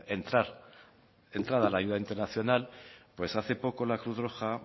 entrada de ayuda internacional pues hace poco la cruz roja